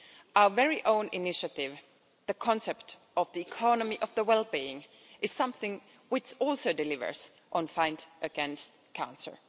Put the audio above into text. Our own initiative, the concept of the economy of well being, is something which also delivers in the fight against cancer.